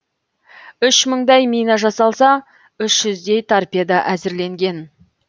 үш мыңдай мина жасалса үш жүздей торпедо әзірленген